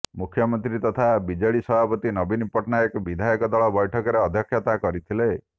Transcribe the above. ମୁଖ୍ୟମନ୍ତ୍ରୀ ତଥା ବିଜେଡି ସଭାପତି ନବୀନ ପଟ୍ଟନାୟକ ବିଧାୟକ ଦଳ ବୈଠକରେ ଅଧ୍ୟକ୍ଷତା କରିଥିଲେ